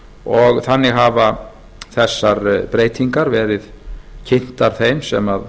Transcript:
og þannig hafa þessar breytingar verið kynntar þeim sem